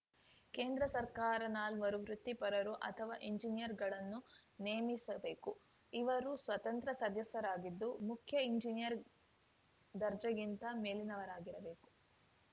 ಕೇಂದ್ರ ಸರ್ಕಾರ ನಾಲ್ವರು ವೃತ್ತಿಪರರು ಅಥವಾ ಎಂಜಿನಿಯರ್‌ಗಳನ್ನು ನೇಮಿಸಬೇಕು ಇವರು ಸ್ವತಂತ್ರ ಸದಸ್ಯರಾಗಿದ್ದು ಮುಖ್ಯ ಎಂಜಿನಿಯರ್‌ ದರ್ಜೆಗಿಂತ ಮೇಲಿನವರಾಗಿರಬೇಕು